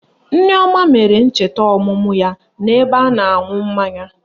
Nneoma mere ncheta ọmụmụ ya n'ebe a na-aṅụ mmanya